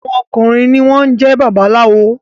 Àwọn ọkùnrin ní wón jé babaláwo